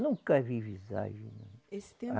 Nunca vi visagem, não. Esse tempo